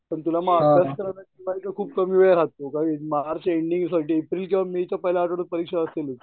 पण तुला अभ्यास करायला टीवायचा खूप कमी वेळ राहतो. मार्च एंडिंग ला काही एप्रिलच्या पहिल्या आठवड्यात परीक्षा असणारच.